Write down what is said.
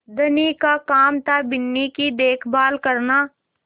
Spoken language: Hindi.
धनी का काम थाबिन्नी की देखभाल करना